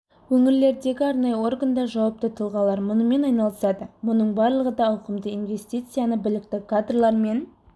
өңірлердегі арнайы органдар жауапты тұлғалар мұнымен айналысады мұның барлығы да ауқымды инвестицияны білікті кадрлар мен